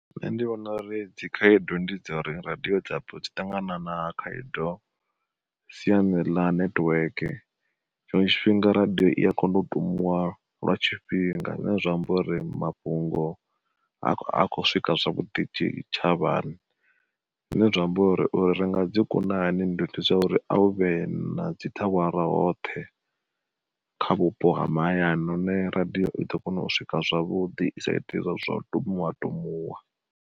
Nṋe ndi vhona uri dzi khaedu ndi dza uri radiyo dzi ṱangana na khaedu siani ḽa nethiweke, tshiṅwe tshifhinga radiyo i ya kona u tumuwa lwa tshifhinga zwine zwa amba uri mafhungo ha khou swika zwavhuḓi tshitshavhani. Zwine zwa amba uri, ringa dzi kuna hani uri a u vhe na dzi thawara hoṱhe, kha vhupo ha mahayani hone radiyo i ḓo kona u swika zwavhuḓi i sa iti zwau tumuwa tumuwa.